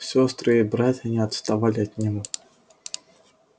сестры и братья не отставали от него